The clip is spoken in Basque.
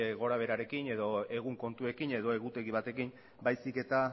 gorabeherekin edo egun kontuekin edo egutegi batekin baizik eta